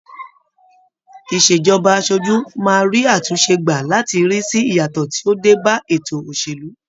Ìṣèjọba aṣojú, máa rí àtúnṣe gbà láti rí sì ìyàtọ̀ tí ó dé ba ètò òṣèlú.